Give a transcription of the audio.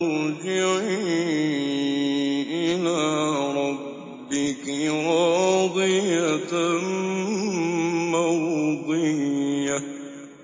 ارْجِعِي إِلَىٰ رَبِّكِ رَاضِيَةً مَّرْضِيَّةً